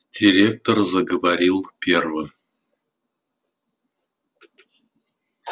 директор заговорил первым